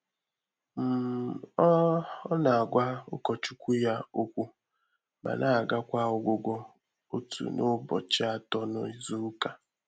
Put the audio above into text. um Ọ́ Ọ́ nà-àgwá ụkọchukwu yá ókwú mà nà-àgàkwà ọ́gwụ́gwọ́ òtù nà ụbọchị Atọ na Izuụka.